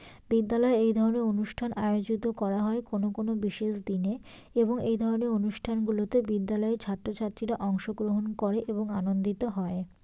বিদ্যালয়ে এই ধরনের অনুষ্ঠান আয়োজিত করা হয় কোনো কোনো বিশেষ দিনে এবং এই ধরনের অনুষ্ঠানগুলোতে বিদ্যালয়ের ছাত্র-ছাত্রীরা অংশগ্রহণ করে এবং আনন্দিত হয়।